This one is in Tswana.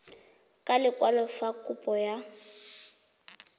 ka lekwalo fa kopo ya